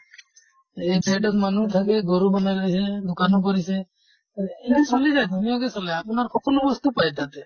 এক side ত মানুহ থাকে গৰু ৰাখে দোকানো কৰিছে এইটো চলি যায় ধুনীয়াকে চলে। আপোনাৰ সকলো বস্তু পায় তাতে।